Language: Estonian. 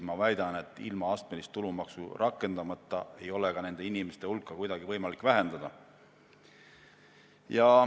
Ma väidan, et astmelist tulumaksu rakendamata ei ole nende inimeste hulka kuidagi võimaldada vähendada.